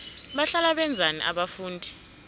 bahlala benzani abafundi